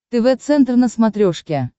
тв центр на смотрешке